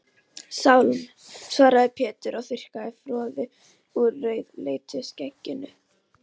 Sálm, svaraði Pétur og þurrkaði froðu úr rauðleitu skegginu.